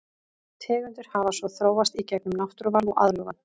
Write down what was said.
Tegundir hafa svo þróast í gegnum náttúruval og aðlögun.